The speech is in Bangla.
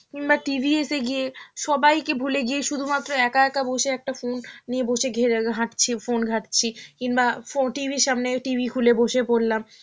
কিংবা TV এসে গিয়ে সবাইকে ভুলে গিয়ে শুধু মাত্র একা একা বসে একটা phone নিয়ে বসে ঘেরা-হাঁটছি~ phone ঘাঁটছি, কিংবা phone~ TV র সামনে, TV খুলে বসে পরলাম,